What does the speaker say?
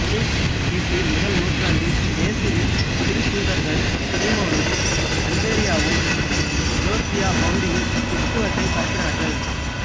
கிபி முதல் நூற்றாண்டில் இயேசுவின் திருத்தூதர்கள் சீமோனும் அந்திரேயாவும் ஜோர்ஜியா பகுதியில் கிறித்தவத்தைப் பரப்பினார்கள்